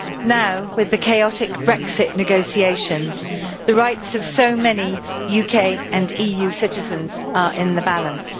Now with the chaotic Brexit negotiations, the rights of so many UK and EU citizens are in the balance.